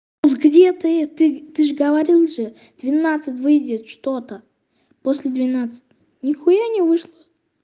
где ты ты же говорил же двенадцать выйдет что-то после двенадцати ни хуя не вышла